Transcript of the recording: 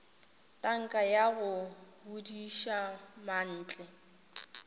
tanka ya go bodiša mantle